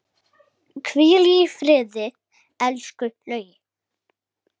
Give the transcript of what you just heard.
Hvíl í friði, elsku Laugi.